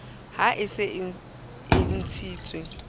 ha e se e ntshitswe